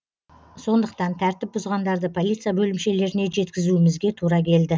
сондықтан тәртіп бұзғандарды полиция бөлімшелеріне жеткізумізге тура келді